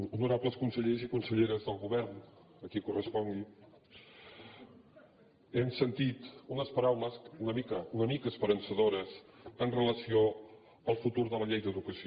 honorables consellers i conselleres del govern a qui correspongui hem sentit unes paraules una mica una mica esperançadores amb relació al futur de la llei d’educació